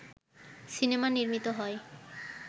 cinema নির্মিত হয়